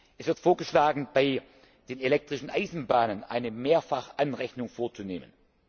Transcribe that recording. Es wird vorgeschlagen, bei den elektrischen Eisenbahnen eine Mehrfachanrechnung vorzunehmen.